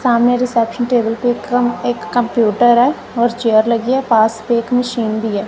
सामने reception table पे कम एक कंप्यूटर है और चेयर लगी है पास पे एक मशीन भी है।